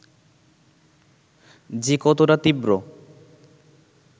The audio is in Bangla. যে কতটা তীব্র